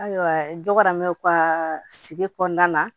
Ayiwa dɔramɛw ka sigi kɔnɔna na